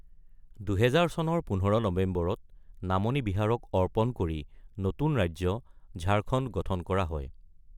২০০০ চনৰ ১৫ নৱেম্বৰত নামনি বিহাৰক অৰ্পণ কৰি নতুন ৰাজ্য ঝাৰখণ্ড গঠন কৰা হয়।